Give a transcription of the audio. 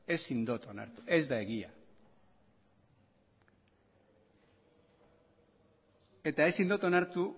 ezin dut onartu ez da egia eta ezin dut onartu